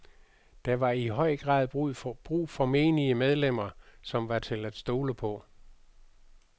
Der var i høj grad brug for menige medlemmer, som var til at stole på.